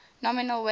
nominal wage cuts